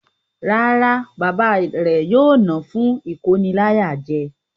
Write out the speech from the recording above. Rárá, Bàbá rẹ̀ yóò ná fún ìkóniláyàjẹ.